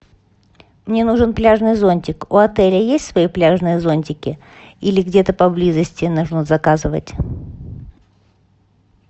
мне нужен пляжный зонтик у отеля есть свои пляжные зонтики или где то поблизости нужно заказывать